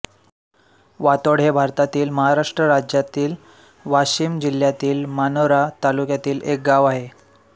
वातोड हे भारतातील महाराष्ट्र राज्यातील वाशिम जिल्ह्यातील मानोरा तालुक्यातील एक गाव आहे